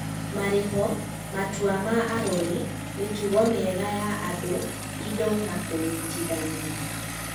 Marĩho, matua ma arori, mĩtugo mĩega ya andũ, indo na kũnyitithania.